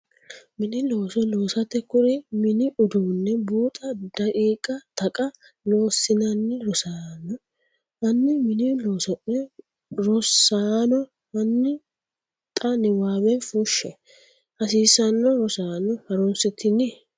Mini looso loosate kuri mini uddune Buuxa daqiiqa Taqa Loossinanni Rosaano, hanni mini looso’ne Rosaano, hanni xa niwaawe fushshe? hasiisanno Rosaano ha’runsitini?